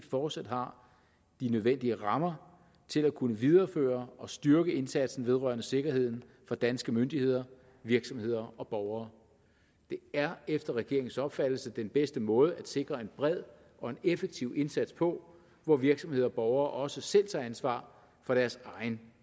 fortsat har de nødvendige rammer til at kunne videreføre og styrke indsatsen vedrørende sikkerheden for danske myndigheder virksomheder og borgere det er efter regeringens opfattelse den bedste måde at sikre en bred og effektiv indsats på hvor virksomheder og borgere også selv tager ansvar for deres egen